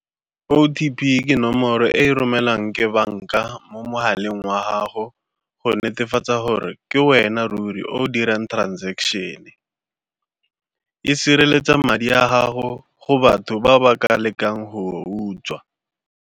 O_T_P ke nomoro e e romelwang ke banka mo mogaleng wa gago go netefatsa gore ke wena ruri o o dirang transaction-e, e sireletsa madi a gago go batho ba ba ka lekang go utswa.